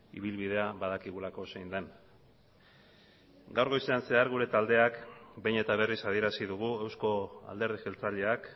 ibilbidea badakigulako zein den gaur goizean zehar gure taldeak behin eta berriz adierazi dugu euzko alderdi jeltzaleak